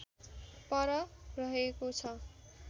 पर रहेको छ